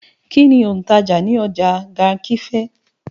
Kín ni òǹtajà ní ọjà Garki fẹ̀?